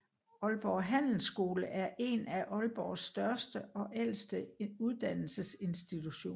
Aalborg Handelsskole er én af Aalborgs største og ældste uddannelsesinstitutioner